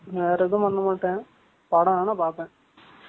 அவ்வளவுதான் use பண்ணுவேன். வேற எதுவும் பண்ண மாட்டேன். படம் வேணா பார்ப்பேன்.